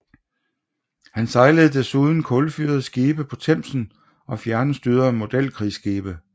Han sejlede desuden kulfyrede skibe på Themsen og fjernstyrede modelkrigsskibe